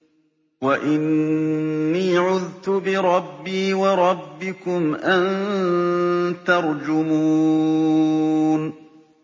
وَإِنِّي عُذْتُ بِرَبِّي وَرَبِّكُمْ أَن تَرْجُمُونِ